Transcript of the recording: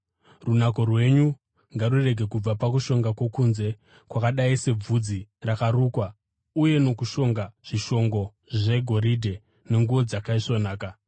Runako rwenyu ngarurege kubva pakushonga kwokunze, kwakadai sebvudzi rakarukwa uye nokushonga zvishongo zvegoridhe nenguo dzakaisvonaka.